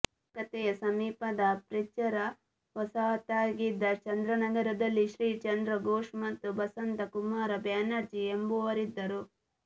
ಕಲ್ಕತ್ತೆಯ ಸಮೀಪದ ಫ್ರೆಂಚರ ವಸಾಹತಾಗಿದ್ದ ಚಂದ್ರನಗರದಲ್ಲಿ ಶ್ರೀ ಚಂದ್ರ ಘೋಷ್ ಮತ್ತು ಬಸಂತಕುಮಾರ ಬ್ಯಾನರ್ಜಿ ಎಂಬುವರಿದ್ದರು